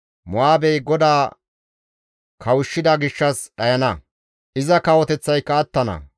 Mo7aabey GODAA kawushshida gishshas dhayana; iza kawoteththayka attana.